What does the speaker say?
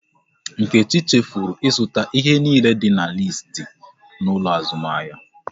Nkechi chefuru ịzụta ihe niile dị n'listi n'ụlọ azụmahịa